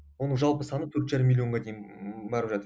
оның жалпы саны төрт жарым миллионға дейін